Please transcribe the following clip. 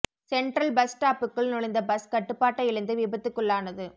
central bus ஸ்டாப்க்குள் நுழைந்த bus கட்டுபாட்டை இழந்து விபத்துக்குள்ளானது